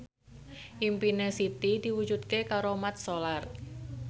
impine Siti diwujudke karo Mat Solar